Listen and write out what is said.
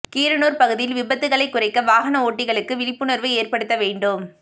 கீரனூர் பகுதியில் விபத்துகளை குறைக்க வாகன ஓட்டிகளுக்கு விழிப்புணர்வு ஏற்படுத்த வேண்டும்